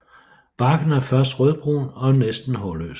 Barken er først rødbrun og næsten hårløs